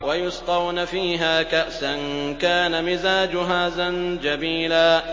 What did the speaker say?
وَيُسْقَوْنَ فِيهَا كَأْسًا كَانَ مِزَاجُهَا زَنجَبِيلًا